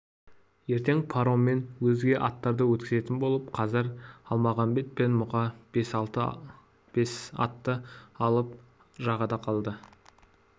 ертең пароммен өзге аттарды өткізетін болып қазір әлмағамбет пен мұқа бес атты алып жағада қалды